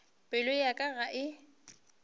pelo ya ka ga e